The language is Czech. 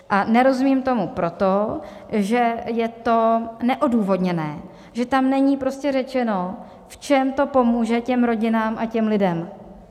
A nerozumím tomu proto, že je to neodůvodněné, že tam není prostě řečeno, v čem to pomůže těm rodinám a těm lidem.